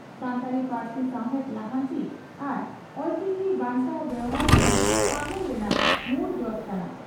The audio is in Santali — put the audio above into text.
ᱥᱟᱱᱛᱟᱲᱤ ᱯᱟᱹᱨᱥᱤ ᱥᱟᱣᱦᱮᱫ ᱞᱟᱦᱟᱱᱛᱤ ᱟᱨ ᱚᱞᱪᱤᱠᱤ ᱵᱟᱧᱪᱟᱣ ᱵᱮᱣᱦᱟᱨ ᱜᱮ 'ᱯᱷᱟᱹᱜᱩᱱ' ᱨᱮᱱᱟᱜ ᱢᱩᱲ ᱡᱚᱥ ᱠᱟᱱᱟ ᱾